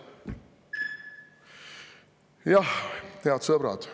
Jah, head sõbrad.